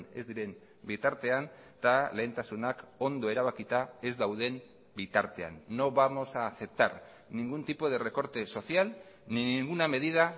ez diren bitartean eta lehentasunak ondo erabakita ez dauden bitartean no vamos a aceptar ningún tipo de recorte social ni ninguna medida